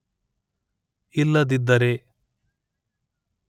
ಇಲ್ಲದಿದ್ದರೆ